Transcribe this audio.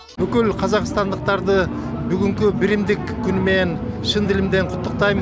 бүкіл қазақстандықтарды бүгінгі бірімдік күнімен шын ділімден құттықтаймын